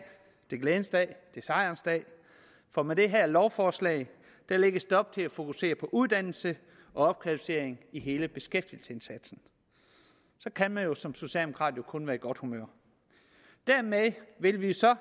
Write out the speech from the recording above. det er en glædens dag det er sejrens dag for med det her lovforslag lægges der op til at fokusere på uddannelse og opkvalificering i hele beskæftigelsesindsatsen så kan man jo som socialdemokrat kun være i godt humør dermed vil vi